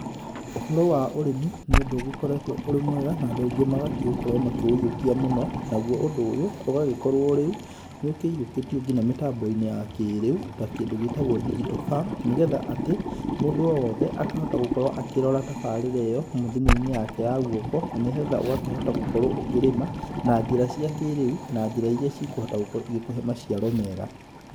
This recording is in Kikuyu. Ũhoro wa ũrĩmi, nĩ ũndũ ũgĩkoretũo ũrĩ mwega, na andũ aingĩ magakĩũkorũo makĩũyũkia mũno, naguo ũndũ ũyũ, ũgagĩkorũo rĩu, nĩ ũkĩyũkĩtio kinya mĩtambo-inĩ ya kĩrĩu, ta kĩndũ gĩtagũo digital farm, nĩ getha atĩ, mũndũ o wothe akahota gũkorũo akĩrora tabarĩra ĩyo, thimũ-inĩ yake ya guoko, na nĩ getha ũgakĩhota gũkorũo ũkĩrĩma na njĩra cia kĩrĩu, na njĩra iria ikũhota gũkorũo ĩgĩkũhe maciaro mega.